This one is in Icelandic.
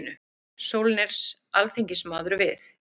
Sólnes alþingismaður við.